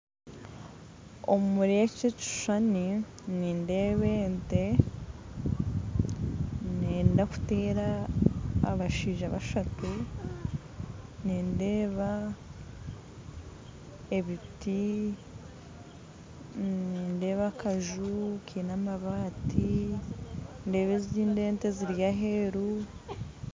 Omuri eki ekishushani nindeeba ente nenda kucumuta abashaija bashatu nindeeba ebiti nindeeba akaju Kaine amabaati ndeeba ezindi ente ziri aheeru